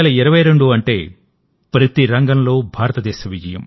2022 అంటే ప్రతి రంగంలో భారతదేశ విజయం